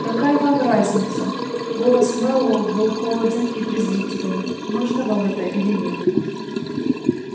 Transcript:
какая вам разница голос мэллоу был холоден и презрителен нужно вам это или нет